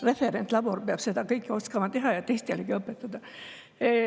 Referentlabor peab seda kõike oskama teha ja teistelegi õpetada.